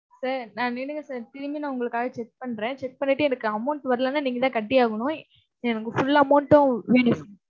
sir நான் நில்லுங்க sir திரும்பி நான் உங்களுக்காக check பண்றேன், check பண்ணிட்டு எனக்கு amount வரலைன்னா நீங்கதான் கட்டியாகணும். எனக்கு full amount உம் வேணும்.